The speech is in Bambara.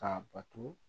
Ka bato